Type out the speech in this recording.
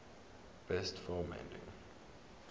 best film editing